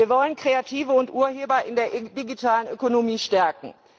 Zweitens Wir wollen Kreative und Urheber in der digitalen Ökonomie stärken.